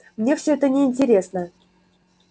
мне всё это неинтересно